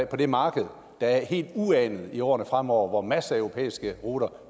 på det marked der er helt uanet i årene fremover hvor masser af europæiske ruter